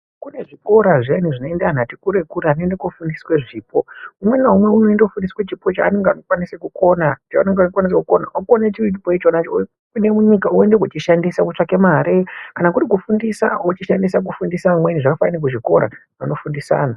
Kune zvikora zvinoenda vantu vati kure kure kunoenda kunofundiswa zvipo .Umwe naumwe anoenda kundofundiswa chipo chanenge akakwanisa kukona ,chaanenge ekwanisa kukona ,okona chiro chipo chirichona ichocho ,opinda munyika oenda kundochishandisa kutsvake mari kana kuri kufundisa ochishandisa kufundisa amweni zvakafanana kuzvikora anofundisa anhu.